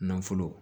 Nafolo